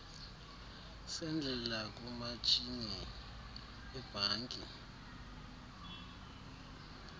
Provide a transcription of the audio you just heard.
sendlela kumatshini webhanki